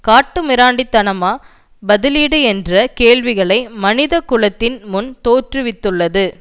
காட்டு மிராண்டி தனமா பதிலீடு என்ற கேள்வியை மனித குலத்தின் முன் தோற்றுவித்துள்ளது